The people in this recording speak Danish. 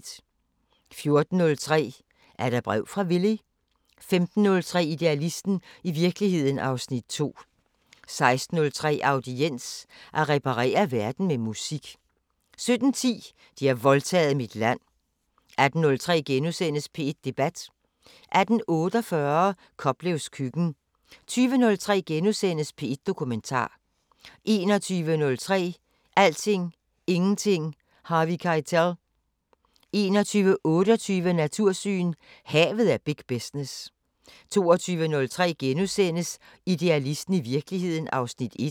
14:03: Er der brev fra Villy? 15:03: Idealisten – i virkeligheden (Afs. 2) 16:03: Audiens: At reparere verden med musik 17:10: De har voldtaget mit land 18:03: P1 Debat * 18:48: Koplevs køkken 20:03: P1 Dokumentar * 21:03: Alting, Ingenting, Harvey Keitel 21:28: Natursyn: Havet er big business 22:03: Idealisten – i virkeligheden (Afs. 1)*